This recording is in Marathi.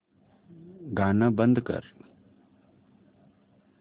गाणं बंद कर